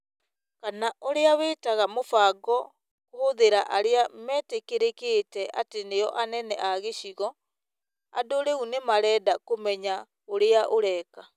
kana ũrĩa wĩtaga mũbango kũhũthĩra arĩa metĩkĩrĩkĩte atĩ nĩo anene a gĩcigo. Andũ rĩu nĩ marenda kũmenya ũrĩa ũreka.